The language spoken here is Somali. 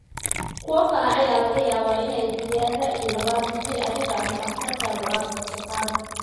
Kuwo kale ayaa laga yaabaa inay bixiyaan ra'yi labaad haddii adiga ama dhakhtarkaagu aad codsataan.